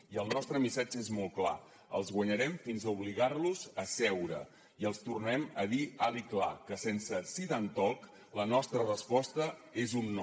i el nostre missatge és molt clar els guanyarem fins a obligar los a seure i els tornem a dir alt i clar que sense sit and talk la nostra resposta és un no